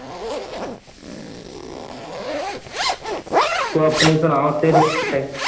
ਤੂੰ ਆਪਣੀ ਸਣਾ ਤੇਰੇ?